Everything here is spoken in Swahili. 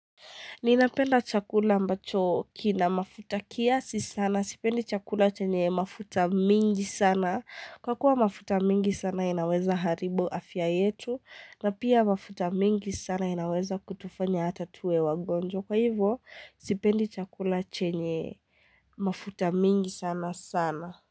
Ninapenda chakula ambacho kina mafuta kiasi sana. Sipendi chakula chenye mafuta mingi sana. Kwa kuwa mafuta mengi sana inaweza haribu afya yetu. Na pia mafuta mengi sana inaweza kutufanya hata tuwe wagonjwa. Kwa hivyo, sipendi chakula chenye mafuta mingi sana sana.